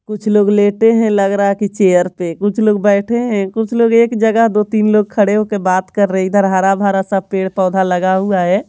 कुछ लोग लेटे हैं लग रहा है कि चेयर पे कुछ लोग बैठे हैं कुछ लोग एक जगह दो-तीन लोग खड़े होके बात कर रहे हैं इधर हरा-भरा सा पेड़-पौधा लगा हुआ है।